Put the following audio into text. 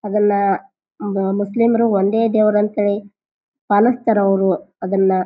ಅದನ್ನ ಮ ಮುಸ್ಲಿಮರು ಒಂದೇ ದೇವರು ಅಂತ ಹೇಳಿ ಪಾಲಿಸ್ತಾರ ಅವ್ರು ಅದನ್ನ.